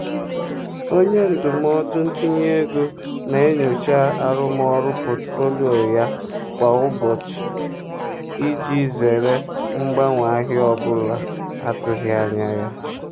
onye ndụmọdụ ntinye ego na-enyocha arụmọrụ pọtụfoliyo kwa ụbọchị iji zere mgbanwe ahịa ọ bụla atụghị anya ya.